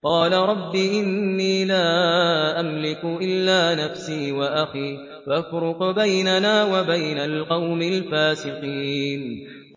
قَالَ رَبِّ إِنِّي لَا أَمْلِكُ إِلَّا نَفْسِي وَأَخِي ۖ فَافْرُقْ بَيْنَنَا وَبَيْنَ الْقَوْمِ الْفَاسِقِينَ